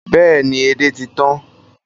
Bẹ́ẹ̀ ni, edé ti tan